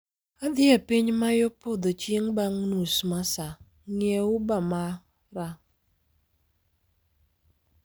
Adhi e piny ma yo podho chieng' bang' nus ma saa, ng'iewo uber mara